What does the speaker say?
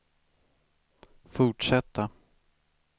fortsätta